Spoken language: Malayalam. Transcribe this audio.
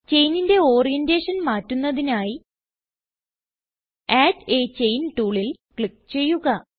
ചെയിനിന്റെ ഓറിയന്റേഷൻ മാറ്റുന്നതിനായി അഡ് a ചെയിൻ ടൂളിൽ ക്ലിക്ക് ചെയ്യുക